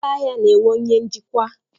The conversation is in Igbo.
Ụlọ ahịa na-enwe onye njikwa.